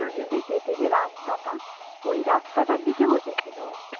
ওদের দিকে যেতে যে রাস্তাটা ওই রাস্তাটার দিকে বসে ছিল